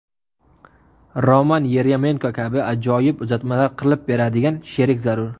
Roman Yeryomenko kabi ajoyib uzatmalar qilib beradigan sherik zarur.